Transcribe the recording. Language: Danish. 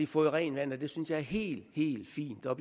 fået rent vand det det synes jeg er helt helt fint og